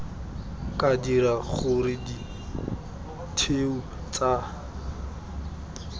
ka dira gore ditheo tsa